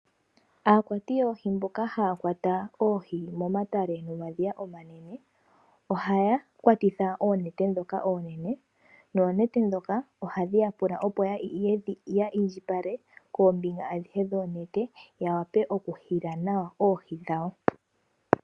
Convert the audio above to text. Aakwati yoohi mboka haya kwata oohi momatale nomadhiya omanene ohaya kwatitha oonete ndhoka oonene noonete ndhoka ohadhi ya pula opo ya indjipale koombinga adhihe dhonete yawape okuhila nawa oohi dhawo.